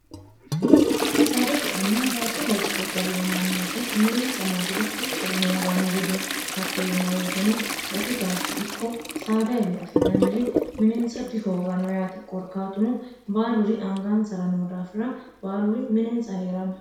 saada ce'enna baatto loosire galino mannooti minintsa marriro mittore hoonganniri dino hatto yeemmaweeteno gati gaashshi ikko saadaewi afi'nanniri mininsa dihooganno yaate korkaatuno baaluri angansara noo daafira baaluri minintsa hee'ranno